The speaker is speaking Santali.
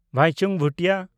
ᱵᱟᱭᱪᱩᱝ ᱵᱷᱩᱴᱤᱭᱟ